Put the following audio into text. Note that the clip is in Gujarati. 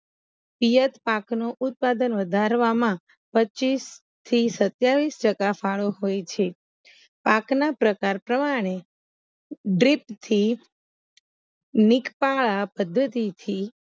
હયાત પાકનો ઉત્પાદન વધારવામાં પચ્ચીસ થી સતીયાવીસ ટકા ફાળો હોય છે પાકના પ્રકાર પ્રમાણે ડ્રીપ થી પદ્ધતિથી